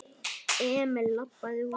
Emil labbaði út.